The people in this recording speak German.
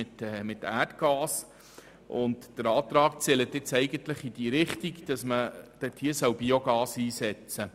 Gemäss meinem Antrag soll dort Biogas eingesetzt werden.